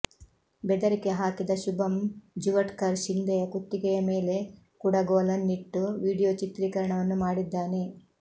ಬೆದರಿಕೆ ಹಾಕಿದ ಶುಭಂ ಜುವಟ್ಕರ್ ಶಿಂಧೆಯ ಕುತ್ತಿಗೆಯ ಮೇಲೆ ಕುಡಗೋಲನ್ನಿಟ್ಟು ವಿಡಿಯೋ ಚಿತ್ರೀಕರಣವನ್ನು ಮಾಡಿದ್ದಾನೆ